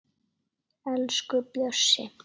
Elsku Bjössi